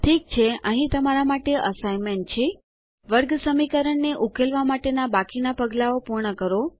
ઠીક છે અહીં તમારા માટે અસાઇન્મેન્ત છે વર્ગસમીકરણ ને ઉકેલવા માટેના બાકીના પગલાંઓ પૂર્ણ કરો